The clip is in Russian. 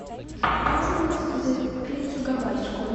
можно мне заказать пиццу гавайскую